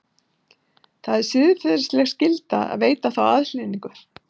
Það er siðferðileg skylda að veita þá aðhlynningu.